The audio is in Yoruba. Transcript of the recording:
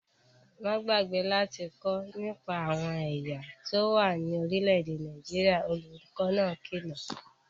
Má gbàgbé láti kọ́ nípa àwọn ẹ̀yà tó wà ní orílẹ̀-èdè Nàìjíríà, olùkó náà kìlọ̀